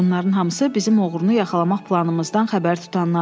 Bunların hamısı bizim oğrunu yaxalamaq planımızdan xəbər tutanlardır.